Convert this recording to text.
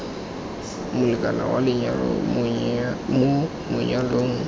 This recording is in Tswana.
molekane wa lenyalo mo manyalong